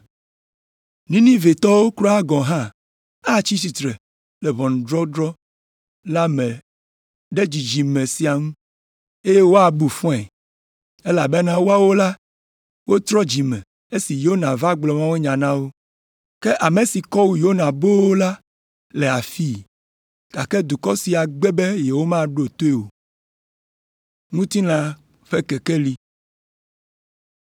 Ninivetɔwo kura gɔ̃ hã atsi tsitre le ʋɔnudɔdrɔ̃ la me ɖe dzidzime sia ŋu, eye woabu fɔe, elabena woawo la, wotrɔ dzime esime Yona va gblɔ mawunya na wo. Ke ame si kɔ wu Yona boo la le afii, gake dukɔ sia gbe be yewomaɖo toe o.”